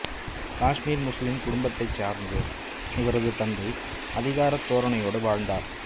காஷ்மீர் முஸ்லிம் குடும்பத்தைச் சார்ந்த இவரது தந்தை அதிகாரத் தோரணையோடு வாழ்ந்தவர்